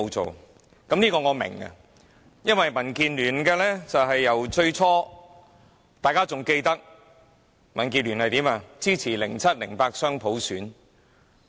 這點我也明白，因為民建聯最初是——大家還記得——支持2007年及2008年雙普選。